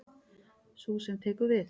Sú sem tekur við.